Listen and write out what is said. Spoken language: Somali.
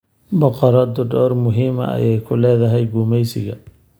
Boqoradu door muhiim ah ayay ku leedahay gumaysiga.